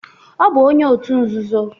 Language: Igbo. Ọ bụ onye otu nzuzo